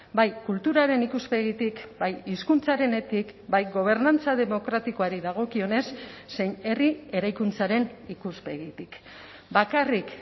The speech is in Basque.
bai kulturaren ikuspegitik bai hizkuntzarenetik bai gobernantza demokratikoari dagokionez zein herri eraikuntzaren ikuspegitik bakarrik